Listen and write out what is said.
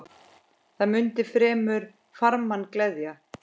Hvað mundi fremur farmann gleðja?